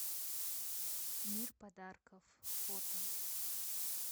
мир подарков фото